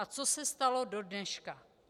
A co se stalo do dneška?